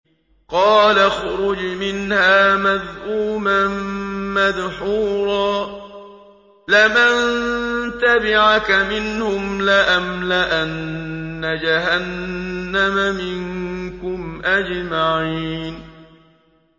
قَالَ اخْرُجْ مِنْهَا مَذْءُومًا مَّدْحُورًا ۖ لَّمَن تَبِعَكَ مِنْهُمْ لَأَمْلَأَنَّ جَهَنَّمَ مِنكُمْ أَجْمَعِينَ